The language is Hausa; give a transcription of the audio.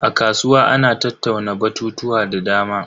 A kasuwa ana tattauna batutuwa da dama.